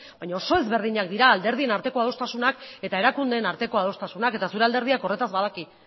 baina oso ezberdinak dira alderdien arteko adostasunak eta erakundeen arteko adostasunak eta zure alderdiak horretaz badaki